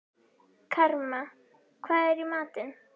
Karma, hvað er í matinn?